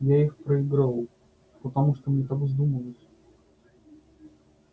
я их проиграл потому что мне так вздумалось